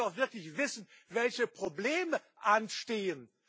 Man muss doch wirklich wissen, welche Probleme anstehen.